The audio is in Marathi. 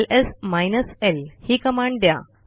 एलएस माइनस ल ही कमांड द्या